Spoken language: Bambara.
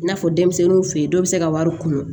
I n'a fɔ denmisɛnninw fe yen dɔw be se ka wari kunu